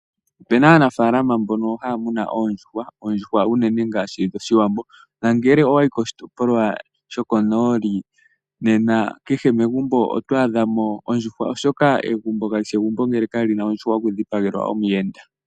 Ope na aanafalama mbono haya muna oondjuhwa, oondjuhwa unene ngaashi dhOshiwambo. Nangele owa yi koshitopolwa sho konooli, nena kehe megumbo oto adha mo ondjuhwa oshoka egumbo kali shi egumbo ngele kali na ondjuhwa yokudhipagelwa omuyenda.